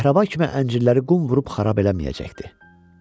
Kəhrəba kimi əncirləri qum vurub xarab eləməyəcəkdi.